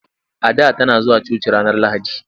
Ada tana zuwa coci ranar Lahadi.